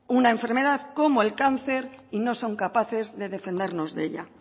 una enfermedad como el cáncer y no son capaces de defendernos de ella